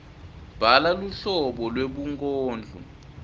bhala luhlobo lwebunkondlo